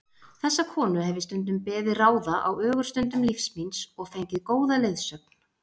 Þessa konu hef ég stundum beðið ráða á ögurstundum lífs míns og fengið góða leiðsögn.